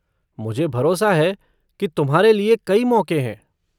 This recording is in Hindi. मुझे भरोसा है कि तुम्हारे लिए कई मौक़े हैं।